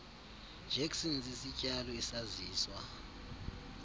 jackson sisityalo esaziswa